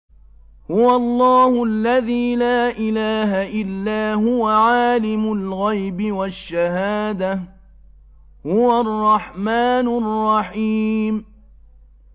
هُوَ اللَّهُ الَّذِي لَا إِلَٰهَ إِلَّا هُوَ ۖ عَالِمُ الْغَيْبِ وَالشَّهَادَةِ ۖ هُوَ الرَّحْمَٰنُ الرَّحِيمُ